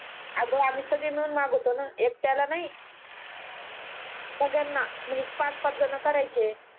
आग आम्ही सगळ्या मिळून मंगवतो ना एकट्याला नाही सगळ्यांना म्हणजे पाच पाच जन करायचे